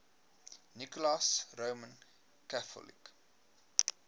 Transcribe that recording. nicholas roman catholic